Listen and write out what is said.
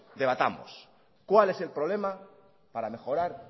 debatamos cuál es problema para mejorar